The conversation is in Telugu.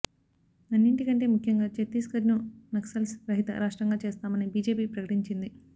అన్నింటికంటే ముఖ్యంగా చత్తీస్గఢ్ను నక్సల్స్ రహిత రాష్ట్రంగా చేస్తామని బీజేపీ ప్రకటించింది